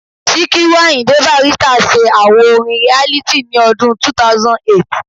Síkírù Àyìndé Bàrístà se àwo orin Reality ní ọdún 2008